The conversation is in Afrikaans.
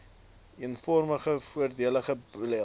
eenvormige verordenige beleide